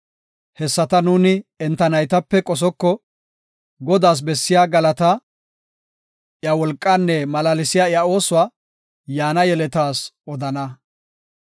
Hessata nuuni enta naytape qosoko; Godaas bessiya galataa, iya wolqaanne malaalsiya iya oosuwa, yaana yeletas odana.